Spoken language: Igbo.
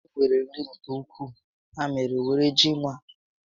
Anyị nwere nri nke ukwuu, ya mèrè, were ji nwa ńnú ólé ị chọrọ